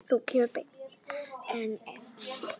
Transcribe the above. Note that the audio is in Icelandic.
Sú kemur beint að efninu!